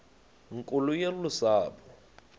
nkulu yolu sapho